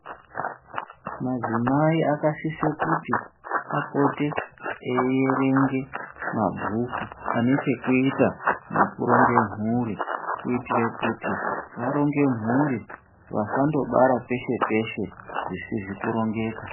Madzimai akasisa kuti apote eierenge mabhuku ane chekuita nekuronga mhuri kuitira kuti varonge mhuri vasandobara peshe peshe zvisizi kurongeka .